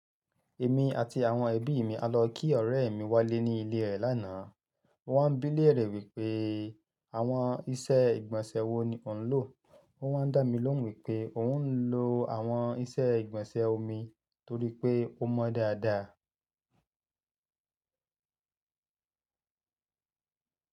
Èmi àti àwọn ẹbí mi a lọ kí ọ̀rẹ́ mi Wálé ní ilé re lánàá. Ó wá ń bí léèrè wípé àwọn iṣẹ́ ìgbọ̀nsẹ̀ wo ni ó ń lò? Ó wá ń dá mi lóhùn wípé òun ń lò àwọn iṣẹ́ ìgbọ̀nsẹ̀ omi torí pé ó mọ dáadáa.